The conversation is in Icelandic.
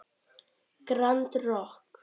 Grand Rokk.